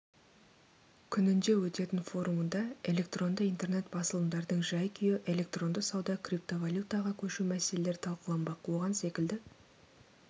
күнінде өтетін форумында электронды интернет басылымдардың жай-күйі электронды сауда криптовалютаға көшу мәселелері талқыланбақ оған секілді